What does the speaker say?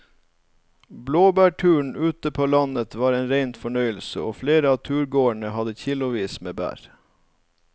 Blåbærturen ute på landet var en rein fornøyelse og flere av turgåerene hadde kilosvis med bær.